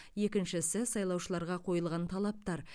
екіншісі сайлаушыларға қойылған талаптар